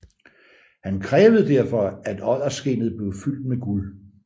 Han krævede derfor at odderskindet blev fyldt med guld